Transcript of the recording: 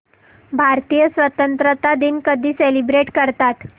भारतीय स्वातंत्र्य दिन कधी सेलिब्रेट करतात